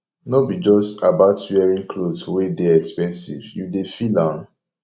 no be just about wearing cloth wey dey expensive you dey feel am